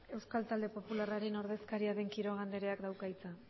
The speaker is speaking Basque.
euskal talde popularraren taldearen ordezkaria den quiroga andreak dauka hitza